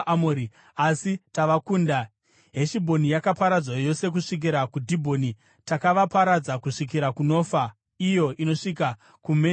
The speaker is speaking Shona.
“Asi takavakunda; Heshibhoni yakaparadzwa yose kusvikira kuDhibhoni. Takavaparadza kusvikira kuNofa, iyo inosvika kuMedhebha.”